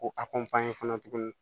Ko a fana tuguni